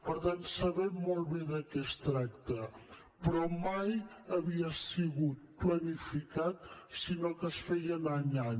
per tant sabem molt bé de què es tracta però mai havia sigut planificat sinó que es feien any a any